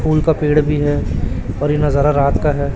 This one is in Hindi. फूल का पेड़ भी है और ये नजारा रात का है।